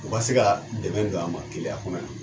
U ka se ka dɛmɛ don an ma keleya kɔnɔ yan.